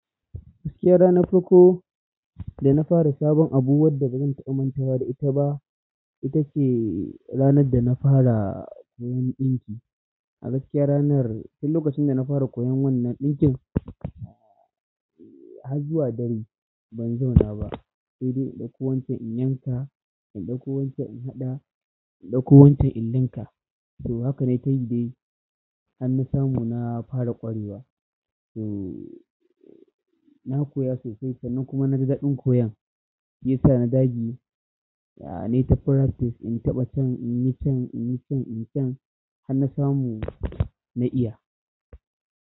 Gaskiya ranar farko da na fara sabon abu wadda bazan taɓa mancewa da ita ba, ita ce ranar da na fara a gaskiya ranar, tin lokacin da na fara koyan wannan ɗinkin, har zuwa dare ban zauna ba. Sai dai in ɗauko wancan in yanka, in ɗauko wancan in haɗa, in ɗauko wancan in ɗinka. So haka nayi tayi dai har na samu na fara ƙwarewa. To na koya sosai sannan kuma naji daɗin koyon ya sa ni dage nayi ta practice inta ɓa can inyi can inyi can har na samu na iya.